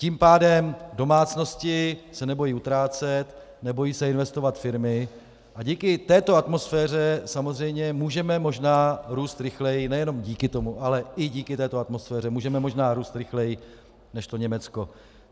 Tím pádem domácnosti se nebojí utrácet, nebojí se investovat firmy, a díky této atmosféře samozřejmě můžeme možná růst rychleji - nejenom díky tomu, ale i díky této atmosféře můžeme možná růst rychleji než to Německo.